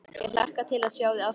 Ég hlakka til að sjá þig aftur.